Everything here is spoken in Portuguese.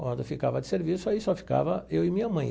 Quando ficava de serviço, aí só ficava eu e minha mãe.